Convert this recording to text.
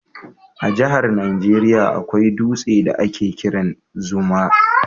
A jahar Niger akwai dutse da a ke kiran Zuma